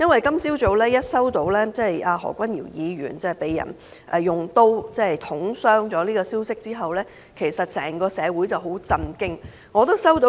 今早聽到何君堯議員被人用刀捅傷的消息後，整個社會都很震驚。